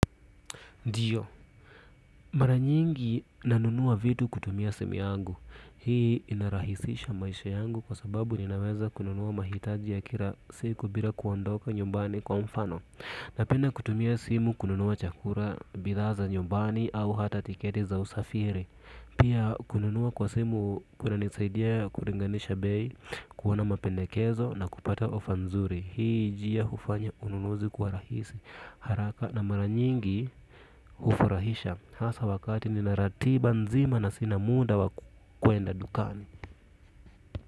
Ndio mara nyingi nanunua vitu kutumia simu yangu hii inarahisisha maisha yangu kwa sababu ninaweza kununua mahitaji ya kila siku bila kuandoka nyumbani kwa mfano napenda kutumia simu kununua chakula, bidhaa za nyumbani au hata tiketi za usafiri pia kununua kwa simu kunanisaidia kulinganisha bei kuona mapendekezo na kupata ofa nzuri hii njia hufanya ununuzi kuwa rahisi haraka na mara nyingi hufurahisha hasa wakati nina ratiba nzima na sina muda wa kwenda dukani.